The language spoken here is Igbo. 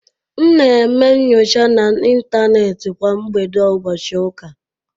M na-eme nnyocha na Intanet kwa mgbede ụbọchị ụka.